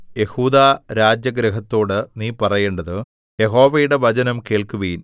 യെഹൂദാരാജഗൃഹത്തോടു നീ പറയേണ്ടത് യഹോവയുടെ വചനം കേൾക്കുവിൻ